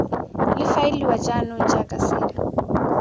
le faeliwa jaanong jaaka selo